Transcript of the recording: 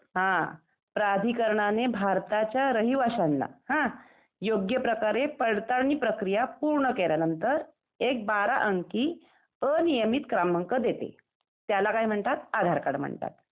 हं , प्राधिकरणाने भारताच्या रहिवाश्यांना योग्य प्रकारे पडताळणी प्रक्रिया पूर्ण केल्या नंतर एक बारा अंकी अनियमित क्रमांक देते त्याला काय म्हणतात आधार कार्ड म्हणतात .